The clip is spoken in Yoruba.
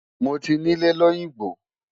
Mo ti nílẹ̀ lóyìngbò.